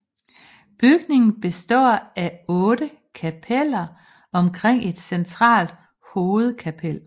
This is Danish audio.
Bygningen består af otte kapeller omkring et centralt hovedkapel